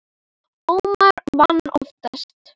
Ómar vann oftast.